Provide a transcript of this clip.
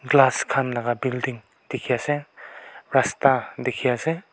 glass khan la building dikhi ase rasta dikhi ase.